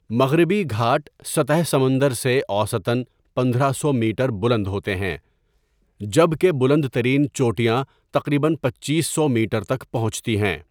مغربی گھاٹ سطح سمندر سے اوسطاً پندرہ سو میٹر بلند ہوتے ہیں جب کہ بلند ترین چوٹیاں تقریباً پنچیس سو میٹر تک پہنچتی ہیں۔